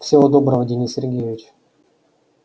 всего доброго денис сергеевич